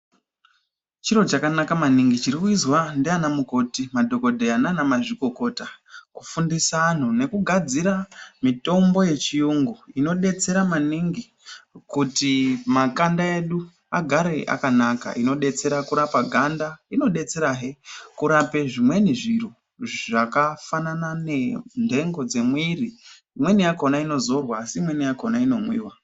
Chiro chakanaka maningi chiri kuizwa ndiana mukoti, madhokodheya nanamazvikokota kufundiswa anhu nekugadzira mitombo yechiyungu inodetsera maningi kuti makanda edu agare akanaka, inodetsera kurapa ganda, inodetserahe kurape zvimweni zviro zvakafanana nenthengo dzemwiri imweni yakhona inozorwa asi imweni yakhona inomwiwa.